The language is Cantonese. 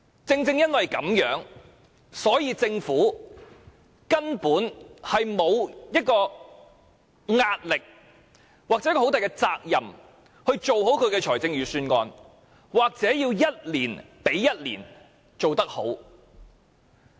正因如此，政府根本沒有壓力要負責任做好預算案，也無須一年比一年做得好。